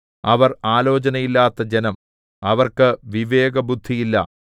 അവർ ആലോചനയില്ലാത്ത ജനം അവർക്ക് വിവേകബുദ്ധിയില്ല